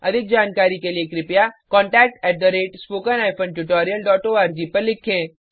अधिक जानकारी के लिए contact at spoken hyphen tutorial dot ORG पर लिखें